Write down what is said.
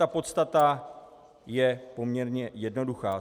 Ta podstata je poměrně jednoduchá.